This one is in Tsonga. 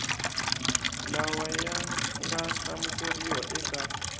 lawa ya nga hlamuseriwa eka